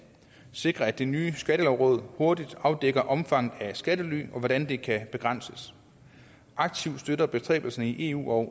sikrer at det nye skattelovråd hurtigt afdækker omfanget af skattely og hvordan det kan begrænses aktivt støtter bestræbelserne i eu og